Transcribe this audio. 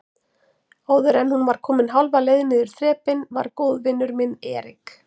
Áðuren hún var komin hálfa leið niður þrepin var góðvinur minn Erik